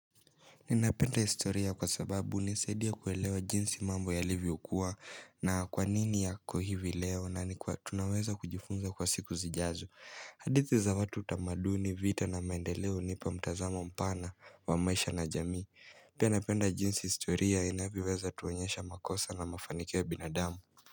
Ninapenda historia kwa sababu hunisaidia kuelewa jinsi mambo yalivyo kuwa na kwanini yako hivi leo na nikuwa tunaweza kujifunza kwa siku zijazo hadithi za watu utamaduni vita na maendeleo hunipa mtazamo mpana wa maisha na jamii Pia napenda jinsi historia inavyoweza tuonyesha makosa na mafanio ya binadamu.